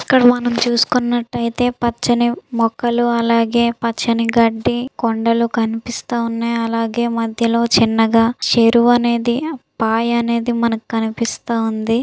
ఇక్కడ మనం చూసుకున్నట్లయితే పచ్చని మొక్కలు అలాగే పచ్చని గడ్డి కొండలు కనిపిస్తున్నాయి. అలాగే మధ్యలో చిన్నగా చెరువు అనేది పాయ అనేది మనకి కనిపిస్తూ ఉంది .